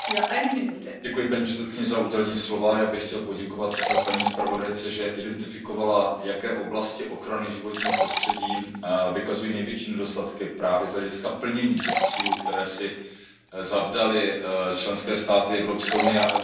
Paní předsedající, já bych chtěl poděkovat paní zpravodajce, že identifikovala, jaké oblasti ochrany životního prostředí vykazují největší nedostatky právě z hlediska plnění těch cílů, které si zadaly členské státy Evropské unie a Unie jako celek.